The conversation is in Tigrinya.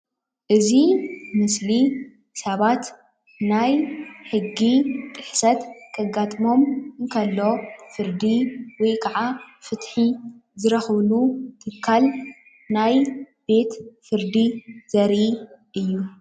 እዚ ምስሊ ሰባት ናይ ሕጊ ጥሕሰት ከጋጥሞም ከሎ ፍርዲ ወይ ከዓ ፍትሒ ዝረክቡሉ ትካል ናይ ቤት ፍርዲ ዘርኢ እዩ።